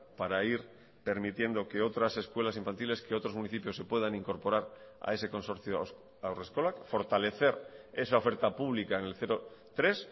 para ir permitiendo que otras escuelas infantiles que otros municipios se puedan incorporar a ese consorcio haurreskolak fortalecer esa oferta pública en el cero tres